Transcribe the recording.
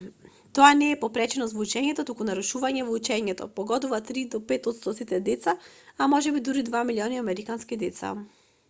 тоа не е попреченост во учењето туку нарушување во учењето погодува 3 до 5 отсто од сите деца а можеби дури 2 милиони американски деца